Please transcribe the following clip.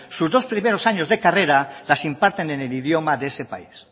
sus dos primeros años de carrera las imparten en el idioma de ese país